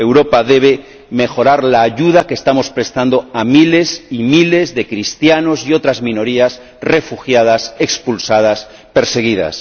Europa debe mejorar la ayuda que estamos prestando a miles y miles de cristianos y otras minorías refugiadas, expulsadas, perseguidas.